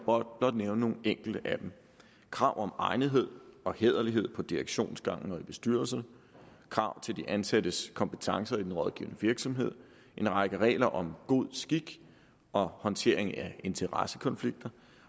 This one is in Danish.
blot nævne nogle enkelte af dem krav om egnethed og hæderlighed på direktionsgangen og i bestyrelse krav til de ansattes kompetencer i den rådgivende virksomhed en række regler om god skik og håndtering af interessekonflikter